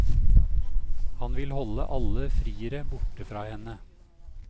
Han vil holde alle friere borte fra henne.